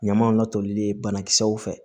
Ɲamaw la tolilen banakisɛw fɛ